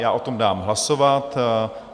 Já o tom dám hlasovat.